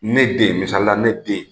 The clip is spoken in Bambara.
Ne den misalila ne den